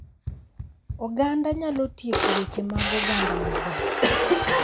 Oganda nyalo tieko weche mag oganda maber